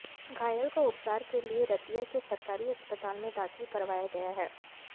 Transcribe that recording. घायल को उपचार के लिए रतिया के सरकारी अस्पताल में दाखिल करवाया गया है